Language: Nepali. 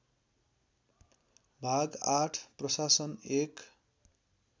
भाग ८ प्रशासन १